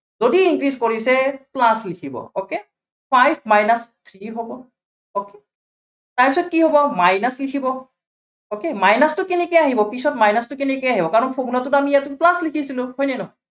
যদি increase কৰিছে, plus লিখিব okay, five minus three হ'ব okay তাৰপিছত কি হ'ব minus লিখিব okay, minus টো কেনেকে আহিব, পিছত minus টো কেনেকে আহিব, কাৰণ formula টোত আমি ইয়াতে plus লিখিছিলো, হয় নে নহয়?